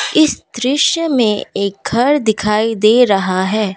इस दृश्य में एक घर दिखाई दे रहा है।